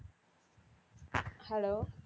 hello